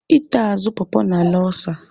Ịta azụ pọpọ na-ala ọlsa.